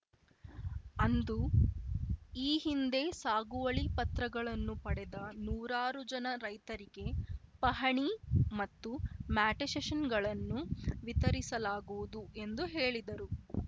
ಅಂದು ಈ ಹಿಂದೆ ಸಾಗುವಳಿ ಪತ್ರಗಳನ್ನು ಪಡೆದ ನೂರಾರುಜನ ರೈತರಿಗೆ ಪಹಣಿ ಮತ್ತು ಮ್ಯಾಟೇಶಷನ್‌ಗಳನ್ನು ವಿತರಿಸಲಾಗುವುದು ಎಂದು ಹೇಳಿದರು